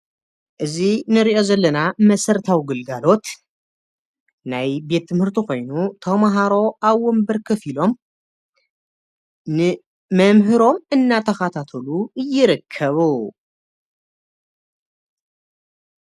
እዚ ንሪኦ ዘለና መሰረታዊ ግልጋሎት ናይ ቤት ትምህርቲ ኾይኑ ተምሃሮ ኣብ ወንበር ኮፍ ኢሎም ንመምህሮም እናተኸታተሉ ይርከቡ ።